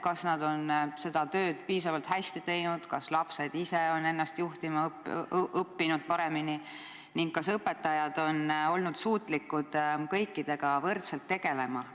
Kas nad on seda tööd piisavalt hästi teinud, kas lapsed ise on ennast paremini juhtima õppinud ning kas õpetajad on olnud suutlikud kõikidega võrdselt tegelema?